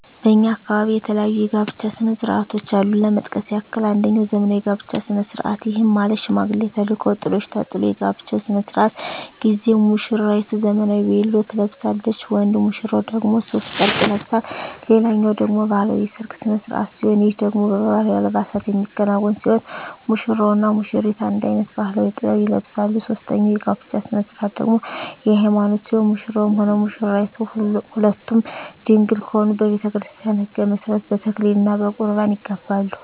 በእኛ አካባቢ የተለያዩ የጋብቻ ስነ ስርዓቶች አሉ ለመጥቀስ ያክል አንጀኛው ዘመናዊ የጋብቻ ስነ ስርዓት ይህም ማለት ሽማግሌ ተልኮ ጥሎሽ ተጥሎ የጋብቻው ስነ ስርዓት ጊዜ ሙስራይቱ ዘመናዊ ቬሎ ትለብሳለች ወንድ ሙሽራው ደግሞ ሡፍ ጨርቅ ይለብሳል ሌላኛው ደግሞ ባህላዊ የሰርግ ስነ ስርዓት ሲሆን ይህ ደግሞ በባህላዊ አልባሳት የሚከናወን ሲሆን ሙሽራው እና ሙሽሪቷ አንድ አይነት ባህላዊ(ጥበብ) ይለብሳሉ ሶስተኛው የጋብቻ ስነ ስርዓት ደግሞ የሀይማኖት ሲሆን ሙሽራውም ሆነ ሙሽራይቷ ሁለቱም ድንግል ከሆኑ በቤተክርስቲያን ህግ መሠረት በተክሊል እና በቁርባን ይጋባሉ።